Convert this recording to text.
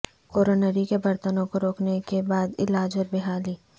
coronary کے برتنوں کو روکنے کے بعد علاج اور بحالی